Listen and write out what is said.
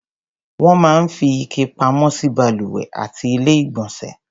Wọ́n máa ń fi ike pamọ́ sí balùwẹ̀ àti Ilé-ìgbọ̀nsẹ̀.